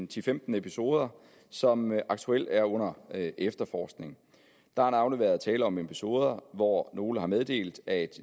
til femten episoder som aktuelt er under efterforskning der har navnlig været tale om episoder hvor nogle har meddelt at